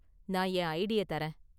நான் என் ஐடிய தர்றேன்.